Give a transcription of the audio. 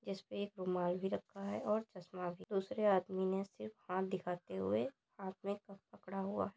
जिसपे एक रुमाल भी रखा हुआ है और चश्मा भी दूसरे आदमी ने सिर्फ हाथ दिखाते हुए हाथ मे कप पकड़ा हुआ है।